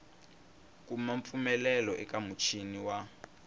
kuma mpfumelelo eka muchini wa